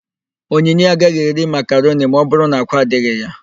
Onyinye agaghị eri makaroni ma ọbụrụ na ákwá adịghị ya.